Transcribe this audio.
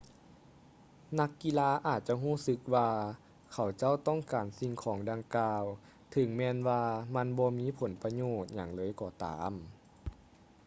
ນັກກິລາອາດຈະຮູ້ສຶກວ່າເຂົາເຈົ້າຕ້ອງການສິ່ງຂອງດັ່ງກ່າວເຖິງແມ່ນວ່າມັນບໍ່ມີຜົນປະໂຫຍດຫຍັງເລີຍກໍຕາມ